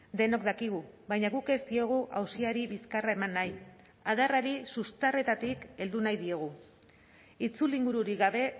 denok dakigu baina guk ez diogu auziari bizkarra eman nahi adarrari sustarretatik heldu nahi diogu itzulingururik gabe